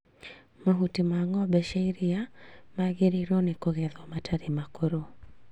Mahuti ma ng'ombe cia iria magĩrĩirwo nĩ kũgethwo matarĩ makũrũ